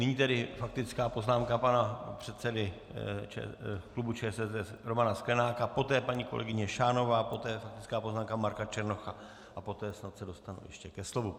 Nyní tedy faktická poznámka pana předsedy klubu ČSSD Romana Sklenáka, poté paní kolegyně Šánová, poté faktická poznámka Marka Černocha a poté snad se dostanu ještě ke slovu.